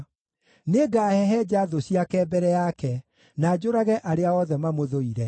Nĩngahehenja thũ ciake mbere yake, na njũrage arĩa othe mamũthũire.